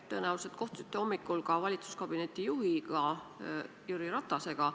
Te tõenäoliselt kohtusite hommikul ka valitsuskabineti juhi Jüri Ratasega.